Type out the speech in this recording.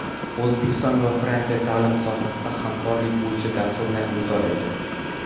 O‘zbekiston va Fransiya ta’lim sohasida hamkorlik bo‘yicha dasturni imzolaydi.